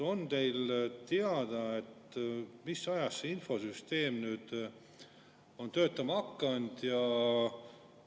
On teile teada, mis ajast see infosüsteem on tööle hakanud?